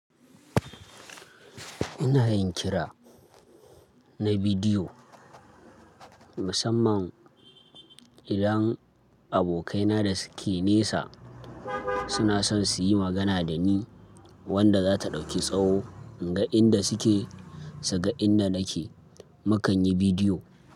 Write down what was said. Ina yin kira na bidiyo musamman idan abokaina da suke nesa suna son su yi magana da ni wanda zata ɗauki tsawo ga inda suke, su ga inda nake. Mukanyi bidiyo.